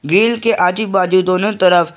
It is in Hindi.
ग्रिल के आजू बाजू दोनों तरफ--